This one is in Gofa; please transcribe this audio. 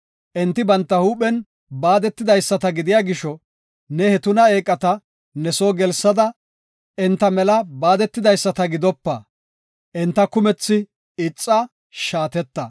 Enti banta huuphen baadetidaysata gidiya gisho, ne he tuna eeqata ne soo gelsada, enta mela baadetidaysata gidopa. Enta kumethi ixa; shaateta.